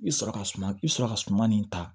I sɔrɔ ka suma i sɔrɔ ka suman nin ta